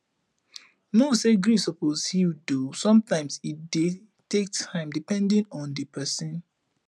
know say grief suppose heal though sometimes e dey take time depedning on di person